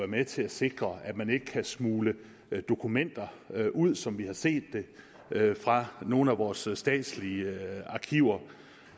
med til at sikre at man ikke kan smugle dokumenter ud som vi har set det fra nogle af vores statslige arkiver